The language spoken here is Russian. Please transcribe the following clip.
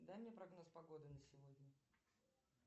дай мне прогноз погоды на сегодня